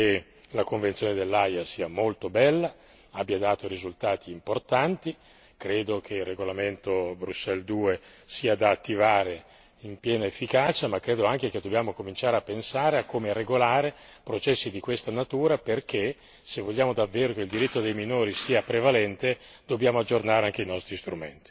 Io penso che la Convenzione dell'Aia sia molto bella e abbia dato risultati importanti e credo che il regolamento Bruxelles II sia da attivare in piena efficacia, ma credo anche che dobbiamo cominciare a pensare a come regolare processi di questa natura perché, se vogliamo davvero che il diritto dei minori sia prevalente, dobbiamo aggiornare anche i nostri strumenti.